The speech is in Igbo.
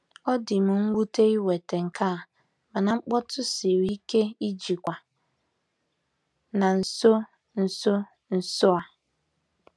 Ọ dị m nwute iweta nke a, mana mkpọtụ siri ike ijikwa na nso nso nso a.